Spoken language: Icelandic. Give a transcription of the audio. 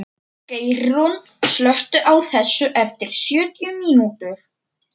Geirrún, slökktu á þessu eftir sjötíu mínútur.